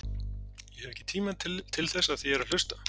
Ég hef ekki tíma til þess af því ég er að hlusta.